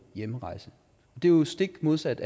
hjemrejse det er jo stik modsat